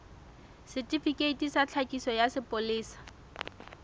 setifikeiti sa tlhakiso sa sepolesa